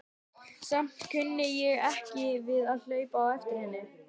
Samt kunni ég ekki við að hlaupa á eftir henni.